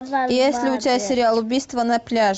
есть ли у тебя сериал убийство на пляже